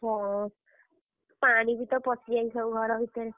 ହଁ, ପାଣିବିତ ପଶିଯାଇଛି ସବୁ ଘର ଭିତରେ।